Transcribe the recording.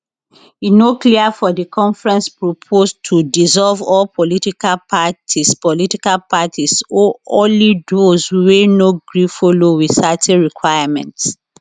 e no clear if di conference propose to dissolve all political parties political parties or only those wey no gree follow wit certain requirements